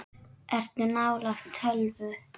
Ertu nálægt tölvu?